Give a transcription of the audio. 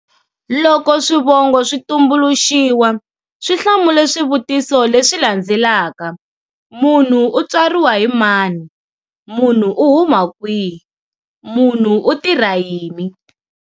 Loko swivongo swi tumbuluxiwa, swi hlamule swivutiso leswi landzelaka-munhu u tswariwa hi mani? munhu u huma kwihi? munhu u tirha yini?